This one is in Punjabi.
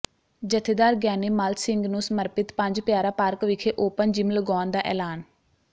ਜਥੇਦਾਰ ਗਿਆਨੀ ਮੱਲ ਸਿੰਘ ਨੂੰ ਸਮਰਪਿਤ ਪੰਜ ਪਿਆਰਾ ਪਾਰਕ ਵਿਖੇ ਓਪਨ ਜਿੰਮ ਲਗਾਉਣ ਦਾ ਐਲਾਨ